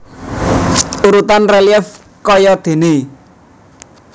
Urutan relief kayadéné